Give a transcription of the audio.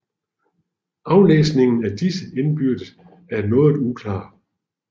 Afgrænsningen af disse indbyrdes er noget uklar